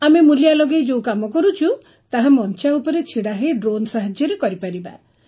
ଆମେ ମୂଲିଆ ଲଗାଇ ଯୋଉ କାମ କରୁଛୁ ତାହା ମଂଚା ଉପରେ ଛିଡ଼ା ହେଇ ଡ୍ରୋନ୍ ସାହାଯ୍ୟରେ କରିପାରିବା